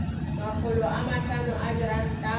makgolo a mahlano a diranta